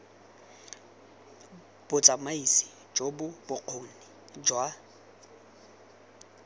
botsamaisi jo bo bokgoni jwa